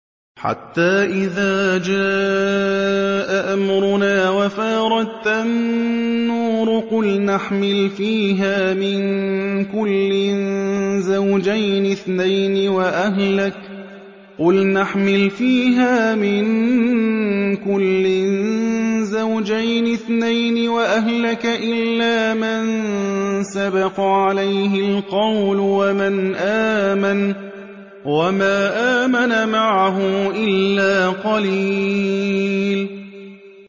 حَتَّىٰ إِذَا جَاءَ أَمْرُنَا وَفَارَ التَّنُّورُ قُلْنَا احْمِلْ فِيهَا مِن كُلٍّ زَوْجَيْنِ اثْنَيْنِ وَأَهْلَكَ إِلَّا مَن سَبَقَ عَلَيْهِ الْقَوْلُ وَمَنْ آمَنَ ۚ وَمَا آمَنَ مَعَهُ إِلَّا قَلِيلٌ